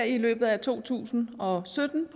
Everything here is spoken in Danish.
i løbet af to tusind og sytten